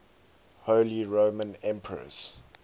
holy roman emperors